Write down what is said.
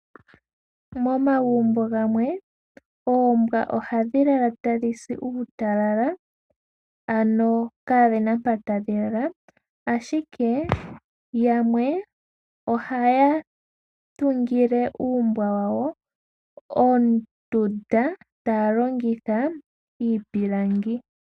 Momagumbo gamwe oombwa ohadhi lala tadhi si uutalala ano kaadhi na mpo tadhi lala, ashike yamwe ohaya tungile uumbwa wawo ondunda ta longitha iipilangi.